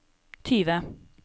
tyve